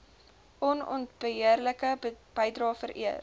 onontbeerlike bydrae vereer